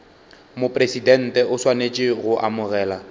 mopresidente o swanetše go amogela